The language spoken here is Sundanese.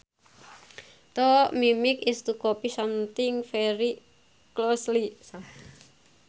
To mimic is to copy something very closely